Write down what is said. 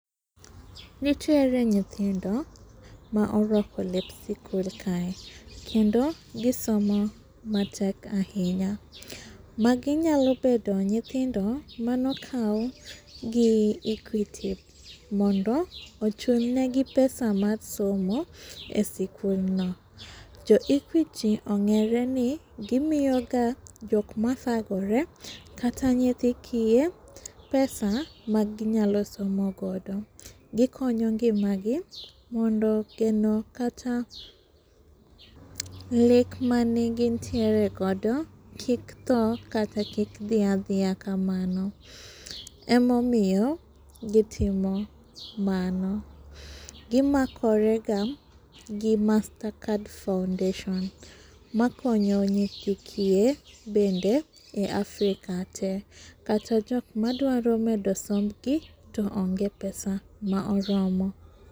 Nitiere nyithindo ma orwako lep sikul kae. Kendo gi somo matek ahinya. Magi nyalo bedo nyithindo mane akaw gi Equity mondo ochulnegi pesa mar somo esikulno. Jo equity ong'ereni gimiyoga jok mathagore kata nyithi kiye pesa ma gi nyalo sonmo godo. Gi konyo ngimagi mondo geno kata lek mane gintiere godo kik thoo kata kik dhia dhia kamano. Ema omiyo gitimo mano. Gi makorega gi master card foundation makonyo nyithi kiye bende e Africa te kata jok madwaro medo sombgi to onge pesa ma oromo.